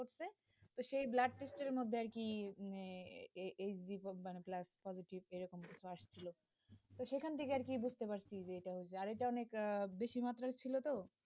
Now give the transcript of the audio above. তো সেই blood test এর মধ্যে আর কি, এই blood positive এরকম আসছিলো সেখান থেকে আর কি বুঝতে পারছি যে টা অনেক বেশি মাত্রায় ছিল তো,